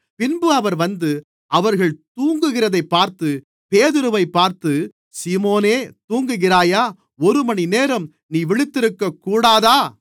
பின்பு அவர் வந்து அவர்கள் தூங்குகிறதைப் பார்த்து பேதுருவைப் பார்த்து சீமோனே தூங்குகிறாயா ஒருமணிநேரம் நீ விழித்திருக்கக்கூடாதா